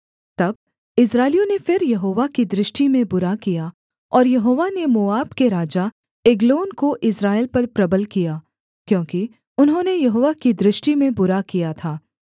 तब इस्राएलियों ने फिर यहोवा की दृष्टि में बुरा किया और यहोवा ने मोआब के राजा एग्लोन को इस्राएल पर प्रबल किया क्योंकि उन्होंने यहोवा की दृष्टि में बुरा किया था